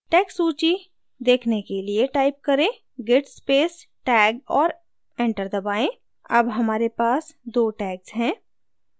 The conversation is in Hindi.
tag सूची देखने के लिए type करें: git space tag और enter करें अब हमारे पास दो tags हैं